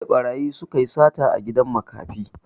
Jiya ɓarayi suka yi sata a gidan makafi